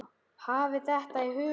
Hafið þetta í huga.